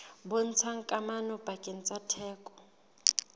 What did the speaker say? bontshang kamano pakeng tsa theko